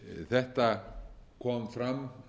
þetta kom fram